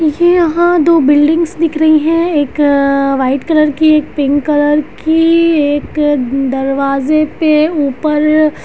मुझे यहाँ पे दो बिल्डिंगस दिख रही हैं एक वाइट कलर की एक पिंक कलर की एक दरवाजा के ऊपर --